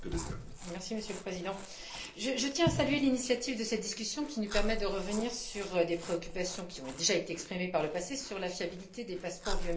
Monsieur le Président, je tiens à saluer l'initiative de cette discussion qui nous permet de revenir sur des préoccupations qui ont déjà été exprimées par le passé sur la fiabilité des passeports biométriques.